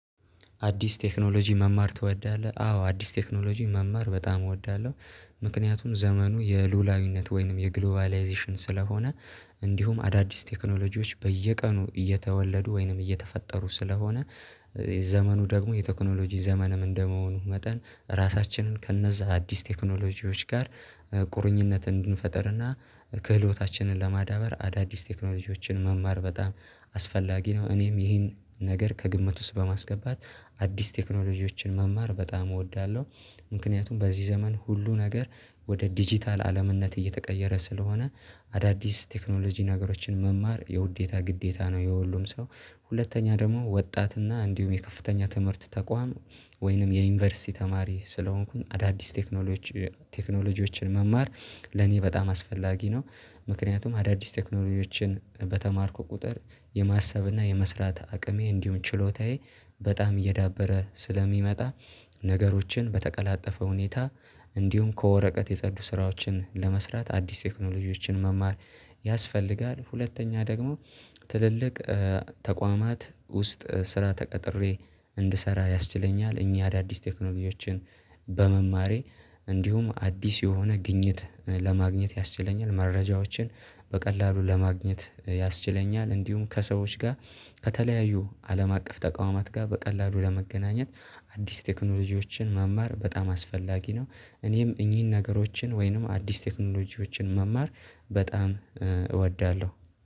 አዲስ ቴክኖሎጂ መማር ትወዳለህ አዎ አዲስ ቴክኖሎጂ መማር በጣም እወዳለሁ። ምክንያቱም ዘመኑ የሉላዊነት ወይንም የግሎባላይዜሽን ስለሆነ እንዲሁም አዳዲስ ቴክኖሎጂዎች በየቀኑ እየተወለዱ ወይንም እየተፈጠሩ ስለሆነ። ዘመኑ ደግሞ የቴክኖሎጂ ዘመንም እንደመሆኑ መጠን ራሳችንን ከእነዚያ አዲስ ቴክኖሎጂዎች ጋር ቁርኝነት እንድንፈጥርና ክህሎታችንን ለማዳበር አዳዲስ ቴክኖሎጂዎችን መማር በጣም አስፈላጊ ነው እኔም ይሄን ነገር ከግምት ውስጥ በማስገባት አዲስ ቴክኖሎጂዎችን መማር በጣም እወዳለሁ። ምክንያቱም በዚህ ዘመን ሁሉ ነገር ወደ ዲጂታል አለምነት እየተቀየረ ስለሆነ አዳዲስ ቴክኖሎጂ ነገሮችን መማር የውዴታ ግዴታ ነው። የሁሉም ሰው ሁለተኛ ደግሞ ወጣት እና እንዲሁም የከፍተኛ ትምህርት ተቋም ወይንም የዩኒቨርሲቲ ተማሪ ስለሆንኩኝ አዳዲስ ቴክኖሎጂ ቴክኖሎጂዎችን መማር ለኔ በጣም አስፈላጊ ነው። ምክንያቱም አዳዲስ ቴክኖሎጂዎችን በተማርኩ ቁጥር የማሰብና የመስራት አቅሜ እንዲሁም ችሎታዬ በጣም እየዳበረ ስለሚመጣ ነገሮችን በተቀላጠፈ ሁኔታ እንዲሁም ከወረቀት የጸዱ ስራዎችን ለመስራት አዲስ ቴክኖሎጂዎችን መማር ያስፈልጋል። ሁለተኛ ደግሞ ትልልቅ ተቋማት ውስጥ ስራ ተቀጥሬ እንድሰራ ያስችለኛል። እኚህ አዳዲስ ቴክኖሎጂዎችን በመማሬ እንዲሁም አዲስ የሆነ ግኝት ለማግኘት ያስችለኛል መረጃዎችን በቀላሉ ለማግኘት ያስችለኛል። እንዲሁም ከሰዎች ጋር ከተለያዩ አለም አቀፍ ተቋማት ጋር በቀላሉ ለመገናኘት አዲስ ቴክኖሎጂዎችን መማር በጣም አስፈላጊ ነው። እኔም እኚህን ነገሮችን ወይንም አዲስ ቴክኖሎጂዎችን መማር በጣም እወዳለሁ